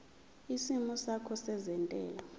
isimo sakho sezentela